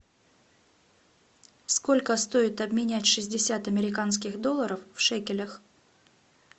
сколько стоит обменять шестьдесят американских долларов в шекелях